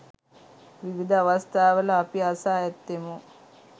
විවිධ අවස්ථාවල අපි අසා ඇත්තෙමු.